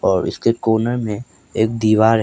और इसके कोने में एक दीवार है।